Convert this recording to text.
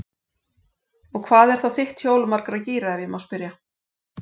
Og hvað er þá þitt hjól margra gíra, ef ég má spyrja?